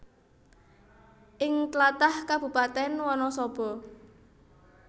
Ing tlatah Kabupatèn Wanasaba